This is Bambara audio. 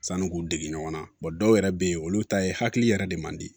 Sanu k'u dege ɲɔgɔn na dɔw yɛrɛ bɛ yen olu ta ye hakili yɛrɛ de man di